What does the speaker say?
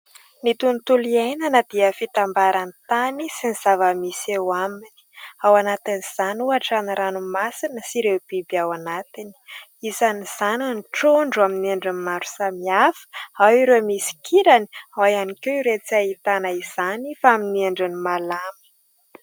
Ny tontolo iainana dia fitambaran'ny tany sy ny zava-misy eo aminy, ao anatin'izany ohatra ny ranomasina sy ireo biby ao anatiny, isan'izany ny trondro amin'ny endriny maro samihafa, ao ireo misy kirany, ao ihany koa ireo tsy ahitana izany fa amin'ny endriny malama.